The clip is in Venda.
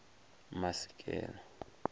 masikela